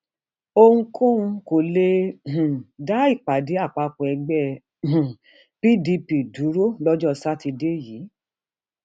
ohunkóhun kò um lè dá ìpàdé àpapọ ẹgbẹ um pdp dúró lọjọ sátidé yìí